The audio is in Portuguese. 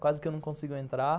Quase que eu não consigo entrar.